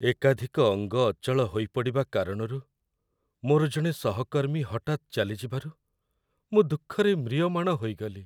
ଏକାଧିକ ଅଙ୍ଗ ଅଚଳ ହୋଇପଡ଼ିବା କାରଣରୁ ମୋର ଜଣେ ସହକର୍ମୀ ହଠାତ୍ ଚାଲିଯିବାରୁ ମୁଁ ଦୁଃଖରେ ମ୍ରିୟମାଣ ହୋଇଗଲି।